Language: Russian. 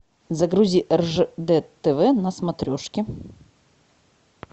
загрузи ржд тв на смотрешке